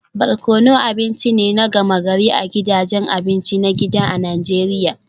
Barkono abinci ne na gama-gari a gidajen abinci na gida a Najeriya